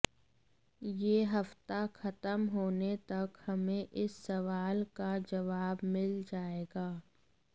यह हफ्ता खत्म होने तक हमें इस सवाल का जवाब मिल जाएगा